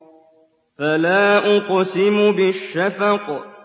فَلَا أُقْسِمُ بِالشَّفَقِ